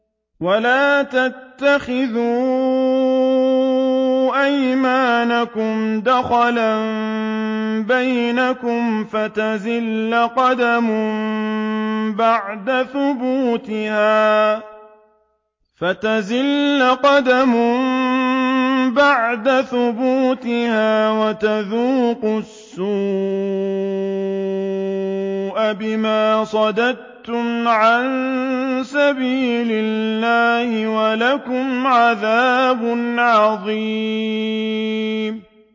وَلَا تَتَّخِذُوا أَيْمَانَكُمْ دَخَلًا بَيْنَكُمْ فَتَزِلَّ قَدَمٌ بَعْدَ ثُبُوتِهَا وَتَذُوقُوا السُّوءَ بِمَا صَدَدتُّمْ عَن سَبِيلِ اللَّهِ ۖ وَلَكُمْ عَذَابٌ عَظِيمٌ